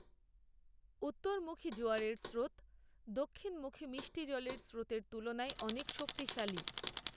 উত্তরমুখী জোয়ারের স্রোত দক্ষিণমুখী মিষ্টি জলের স্রোতের তুলনায় অনেক শক্তিশালী